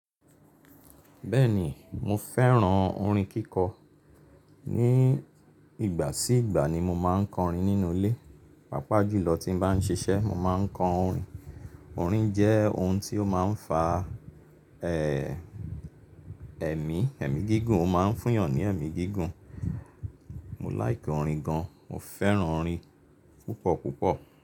Bẹ́ẹ̀ni mo fẹ́ràn orin kíkọ. Ni ìgbà sí ìgbà ni mo máa ń kọrin nínú ilé. Pápá jùlọ tí mo bá n ṣiṣẹ́ mo máa ń kọ orin. Orin jẹ́ ohun tí ó máa n fa ẹmi, ẹmi gígùn, ó máa n fún eeyàn ni ẹmi gígùn. Mo like orin gan. Mo fẹ́ràn orin púpọ̀ púpọ̀.